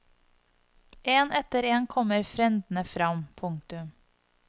En etter en kommer frendene fram. punktum